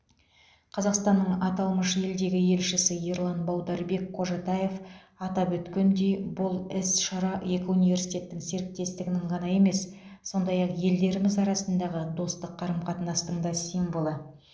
қазақстанның аталмыш елдегі елшісі ерлан баударбек қожатаев атап өткендей бұл іс шара екі университеттің серіктестігінің ғана емес сондай ақ елдеріміз арасындағы достық қарым қатынастың да символы